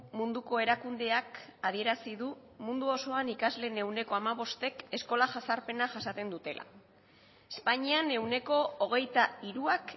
munduko erakundeak adierazi du mundu osoan ikasleen ehuneko hamabostek eskola jazarpena jasaten dutela espainian ehuneko hogeita hiruak